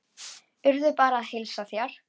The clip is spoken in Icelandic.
Urður bað að heilsa þér.